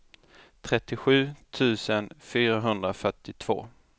trettiosju tusen fyrahundrafyrtiotvå